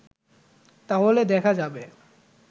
তাহলে দেখা যাবে